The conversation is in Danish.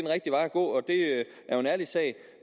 gå og det er jo en ærlig sag